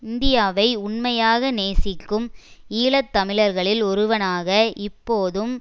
இந்தியாவை உண்மையாக நேசிக்கும் ஈழ தமிழர்களில் ஒருவனாக இப்போதும்